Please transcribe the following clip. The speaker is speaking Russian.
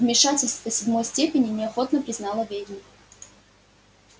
вмешательство седьмой степени неохотно признала ведьма